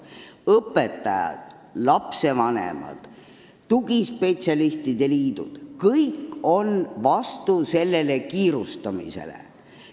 Õpetajad, lastevanemad, tugispetsialistide liidud – kõik on selle kiirustamise vastu.